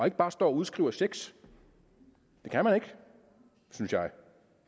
ikke bare står og udskriver checks det kan man ikke synes jeg